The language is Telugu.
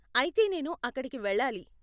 అయితే నేను అక్కడికి వెళ్ళాలి.